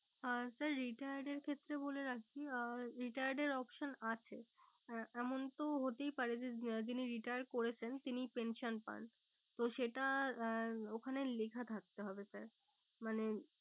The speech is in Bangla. আহ sir retired এর ক্ষেত্রে বলে রাখি আহ retired এর option আছে আহ এমন তো হতেই পারে যে উম যিনি retired করেছেন তিনি pension পান তো সেটা আহ ওখানে লেখা থাকতে হবে sir মানে